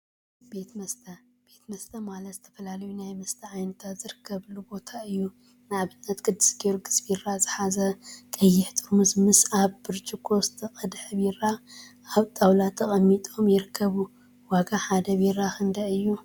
ቤት መስተ ቤት መስተ ማለት ዝተፈላለዩ ናይ መስተ ዓይነታት ዝርከበሉ ቦታ እዩ፡፡ ንአብነት ቅዱስ ጊዮርጊሰ ቢራ ዝሓዘ ቀይሕ ጥርሙዝ ምስ አብ ብርጭቆ ዝተቀድሐ ቢራ አብ ጣውላ ተቀሚጦም ይርከቡ፡፡ ዋጋ ሓደ ቢራ ክንደይ እዩ?